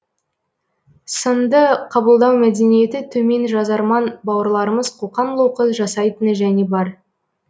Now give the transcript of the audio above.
сынды қабылдау мәдениеті төмен жазарман бауырларымыз қоқан лоқы жасайтыны және бар